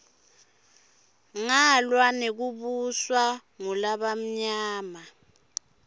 ngalwa nekubuswa ngulabamnyama